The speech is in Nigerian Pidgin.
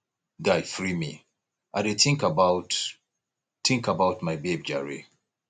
guy free me i dey think about think about my babe jare